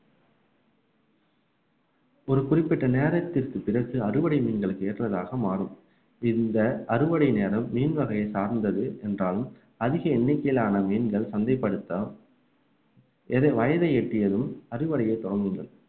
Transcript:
ஒரு குறிப்பிட்ட நேரத்திற்கு பிறகு அறுவடை மீன்களுக்கு ஏற்றதாக மாறும் இந்த அறுவடை நேரம் மீன் வகையை சார்ந்தது என்றாலும் அதிக எண்ணிக்கையிலான மீன்கள் சந்தைப்படுத்த எது வயதை எட்டியதும் அறுவடையை துவங்குங்கள்